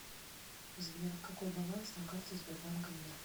сбер какой баланс на карте сбербанка мир